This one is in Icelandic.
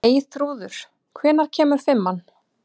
Eyþrúður, hvenær kemur fimman?